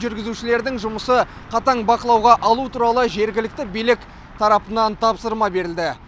жүргізушілердің жұмысы қатаң бақылауға алу туралы жергілікті билік тарапынан тапсырма берілді